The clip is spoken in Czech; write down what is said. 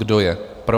Kdo je pro?